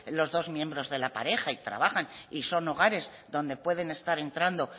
los dos miembros de la pareja y trabajan y son hogares donde pueden estar entrando